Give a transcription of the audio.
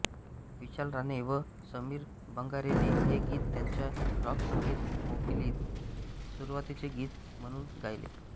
विशाल राणे व समीर बंगारेने हे गीत त्यांच्या राॅक संगीत मैफिलीत सुरुवातचे गीत म्हणून गायले